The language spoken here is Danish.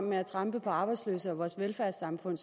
med at trampe på arbejdsløse og vores velfærdssamfund